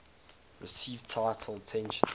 received little attention